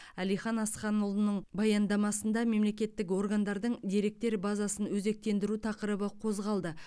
әлихан асханұлының баяндамасында мемлекеттік органдардың деректер базасын өзектендіру тақырыбы қозғалды